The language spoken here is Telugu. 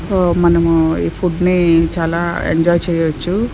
ఒ మనము ఈ ఫుడ్ ని చాలా ఎంజాయ్ చేయొచ్చు.